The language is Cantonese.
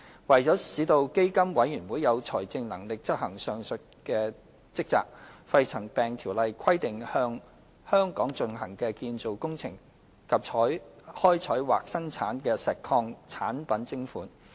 為了使基金委員會有財政能力執行上述職責，《條例》規定向在香港進行的建造工程及開採或生產的石礦產品徵款。